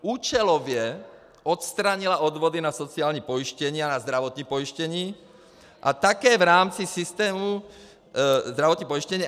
Účelově odstranila odvody na sociální pojištění a na zdravotní pojištění a také v rámci systému zdravotního pojištění.